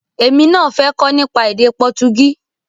Èmi náà fẹ́ kọ́ nípa èdè Pọtugí